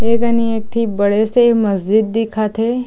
ए कनि एक ठी बड़े से मस्ज़िद दिखत हे।